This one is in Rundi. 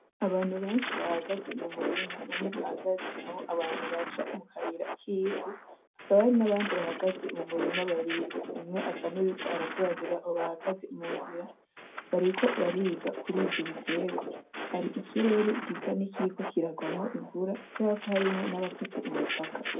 Abantu benshi bahagaze mu murima, bamwe bahagaze aho abantu baca mu kayira k'ivu, hakaba hari n'abandi bahagaze mu murima babiri. Umwe asa n'uwuriko arasobanunira abo bahagaze mu nzira, bariko bariga kurivyo biterw. Hari ikirere gisa nikiriko kiragwamwo imvura kubera ko harimwo nabafise imitaka.